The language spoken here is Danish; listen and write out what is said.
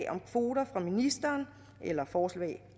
om kvoter fra ministeren eller forslag